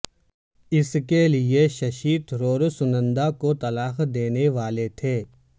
اس کے لیے ششی تھرور سنندا کو طلاق دینے والے تھے